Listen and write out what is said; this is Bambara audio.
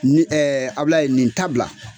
Ni Abilayi nin ta bila,